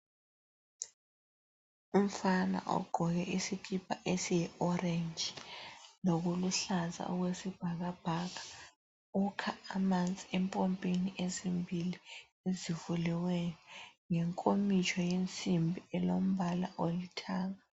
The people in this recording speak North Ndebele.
Umfana ogqoke isikipa esiyiorange lokuluhlaza okwesibhakabhaka ukha amanzi empompini ezimbili ezivuliweyo ngenkomitsho yensimbi elombala olithanga.